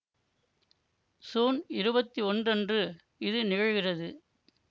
சூன் இருபத்தி ஒன்று அன்று இது நிகழ்கிறது